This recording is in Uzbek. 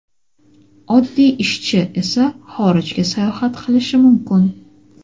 oddiy ishchi esa xorijga sayohat qilishi mumkin.